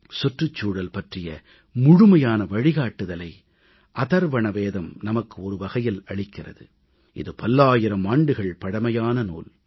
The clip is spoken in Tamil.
சுற்றுச்சூழல் பற்றிய முழுமையான வழிகாட்டுதலை அதர்வண வேதம் நமக்கு ஒருவகையில் அளிக்கிறது இது பல்லாயிரம் ஆண்டுகள் பழமையான நூல்